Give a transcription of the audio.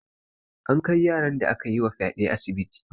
An kai yaran da akayi wa fyaɗe asibiti.